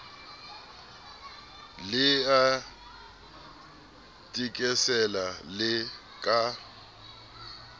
le a thekesela le ka